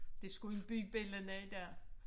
Det skulle en byde bellana i dag